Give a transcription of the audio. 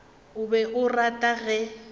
o be a rata ge